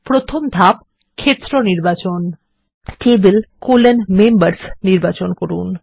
প্রথম ধাপ ক্ষেত্র নির্বাচন Table মেম্বার্স নির্বাচন করুন